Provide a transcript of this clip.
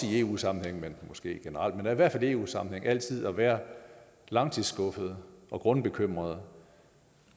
i eu sammenhæng måske ikke generelt men i hvert fald i eu sammenhæng altid at være langtidsskuffet og grundbekymret